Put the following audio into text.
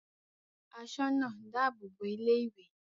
Asoona dáàbò bo ilé-ìwé.